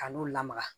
Ka n'u lamaga